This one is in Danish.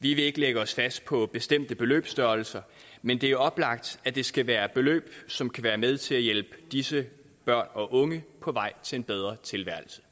vi vil ikke lægge os fast på bestemte beløbsstørrelser men det er oplagt at det skal være beløb som kan være med til at hjælpe disse børn og unge på vej til en bedre tilværelse